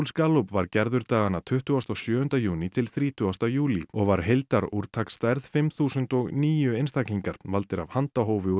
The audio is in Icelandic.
Gallup var gerður dagana tuttugasta og sjöunda júní til þrítugasta júlí og var fimm þúsund og níu einstaklingar valdir af handahófi úr